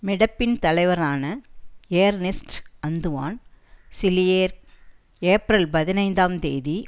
மெடெப்பின் தலைவரான Ernest Antoine Seilliere April பதினைந்தாம் தேதி